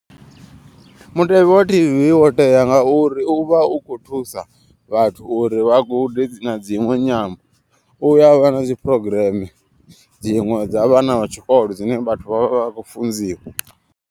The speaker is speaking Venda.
Mutevhe wa T_V wo tea ngauri uvha u kho thusa vhathu uri vha gude na dziṅwe nyambo. Uya vha na dzi phurogireme dziṅwe dza vhana vha tshikolo dzine vhathu vha vha vha khou funziwa.